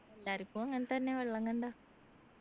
എല്ലാരിക്കും അങ്ങനെതന്നെ വെള്ളം കണ്ടാൽ